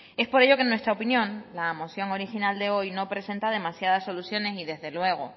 es por ello que en nuestra opinión la moción original de hoy no presenta demasiadas soluciones y desde luego